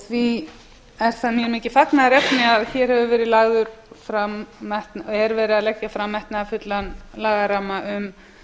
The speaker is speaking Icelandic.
því er það mér mikið fagnaðarefni að hér hefur verið lagður fram er verið að leggja fram metnaðarfullan lagaramma um